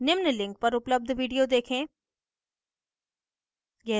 निम्न link पर उपलब्ध video देखें